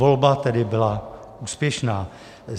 Volba tedy byla úspěšná.